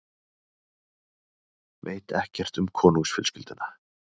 Veit ekkert um konungsfjölskylduna